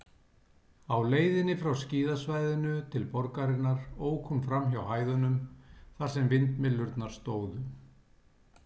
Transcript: Á leiðinni frá skíðasvæðinu til borgarinnar ók hún framhjá hæðunum, þar sem vindmyllurnar stóðu.